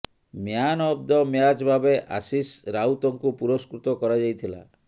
man of the match ଭାବେ ଆଶିଷ ରାଉତଙ୍କୁ ପୁରସ୍କୃତ କରାଯାଇଥିଲା